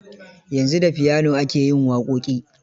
Yanzu da piano ake yin waƙoƙi.